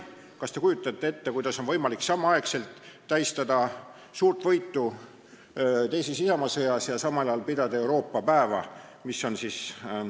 Kas te kujutate ette, kuidas on võimalik tähistada võitu suures isamaasõjas ja samal päeval pidada Euroopa päeva?